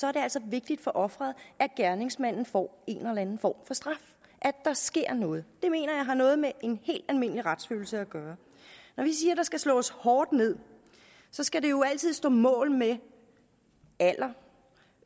er det altså vigtigt for offeret at gerningsmanden får en eller anden form for straf at der sker noget det mener jeg har noget med en helt almindelig retsfølelse at gøre når vi siger der skal slås hårdt ned skal det jo altid stå mål med alder